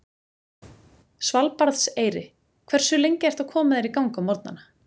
Svalbarðseyri Hversu lengi ertu að koma þér í gang á morgnanna?